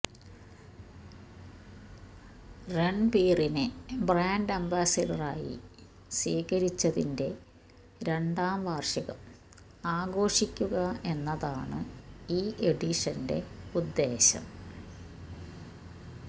രണ്ബീറിനെ brand അംബാസ്സഡറായി സ്വീകരിച്ചതിന്റെ രണ്ടാ വാര്ഷികം ആഘോഷിക്കുക എന്നതാണ് ഈ എഡിഷന്റെ ഉദ്ദേശ്യം